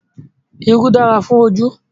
Irú dára fún ojú